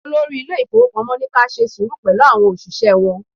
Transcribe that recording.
Olórí ilé ifowopamo ní ka ṣe sùúrù pẹ̀lú àwọn òṣìṣẹ́ wọn.